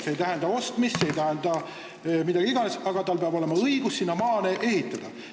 See ei tähenda ostmist, see ei tähenda mida iganes, aga tal peab olema õigus sinna maale ehitada.